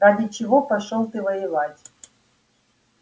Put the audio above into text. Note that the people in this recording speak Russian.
ради чего пошёл ты воевать